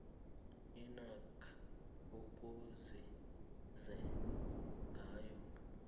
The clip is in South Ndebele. inac ikusize ngayo